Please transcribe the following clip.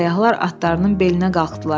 Səyyahlar atlarının belinə qalxdılar.